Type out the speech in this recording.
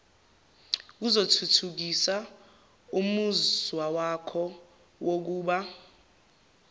kuzothuthukisa umuzwawakho wokuba